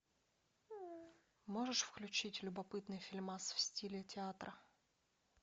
можешь включить любопытный фильмас в стиле театра